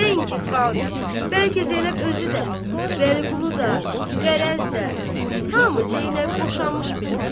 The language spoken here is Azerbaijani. Nəinki xalq, bəlkə Zeynəb özü də, Vəliqulu da, qərəzdə, hamı Zeynəb boşanmış bilirdi.